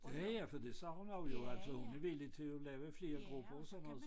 Ja ja for det sagde hun også jo altså hun er villig til at lave flere grupper og sådan noget